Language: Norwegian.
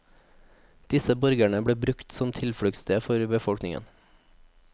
Disse borgene ble brukt som tilfluktssted for befolkningen.